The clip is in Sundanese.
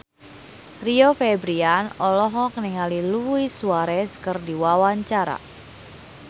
Rio Febrian olohok ningali Luis Suarez keur diwawancara